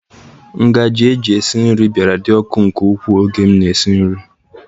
Ngaji esi nri bịara dị ọkụ nke ukwuu oge m na-esi nri.